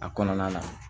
A kɔnɔna na